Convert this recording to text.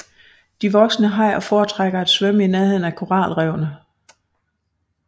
De voksne hajer foretrækker at svømme i nærheden af koralrevene